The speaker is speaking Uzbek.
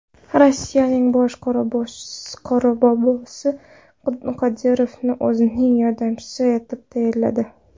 Rossiyaning bosh Qorbobosi Qodirovni o‘zining yordamchisi etib tayinladi.